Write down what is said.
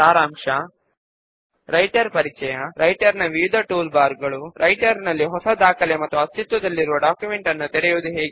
subform లో ఏ record ను అయినా సరే ఎంచుకోండి